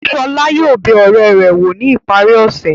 Ṣọlá yóò bẹ ọ̀rẹ́ rẹ̀ wò ní ìparí ọ̀sẹ̀.